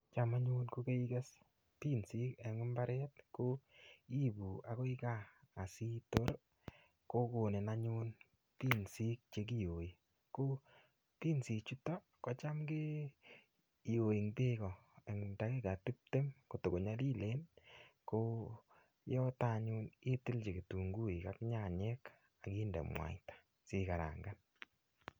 Cham anyun ko keikerte Pinsik en imbaret iibu anyun akoi gaa asitor kokoni anyun Pinsik chekiyoi. Ko Pinsik chuton kotam kiyoi en beek en takikai tiptem kota konyolilen ko yoton anyun itiljin kitunguik ak nyanyik ak inde muaita sikarangan.